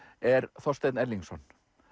er Þorsteinn Erlingsson